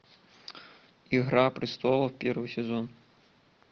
игра престолов первый сезон